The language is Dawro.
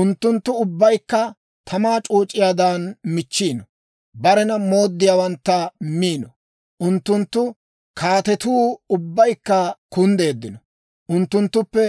Unttunttu ubbaykka tamaa c'ooc'iyaadan michchiino; barena mooddiyaawantta miino. Unttunttu kaatetuu ubbaykka kunddeeddino; unttunttuppe